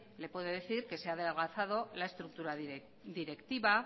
le puedo decir que se ha adelgazado la estructura directiva